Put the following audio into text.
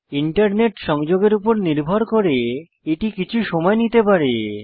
internet সংযোগের উপর নির্ভর করে এটি কিছু সময় নিতে পারে